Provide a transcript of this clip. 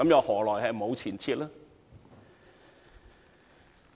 何來沒有前設呢？